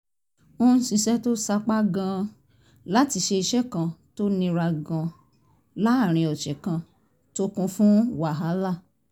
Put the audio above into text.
ń ṣiṣẹ́ tó sapá gan-an láti ṣe iṣẹ́ kan tó nira gan-an láàárín ọ̀sẹ̀ kan tó kún fún wàhálà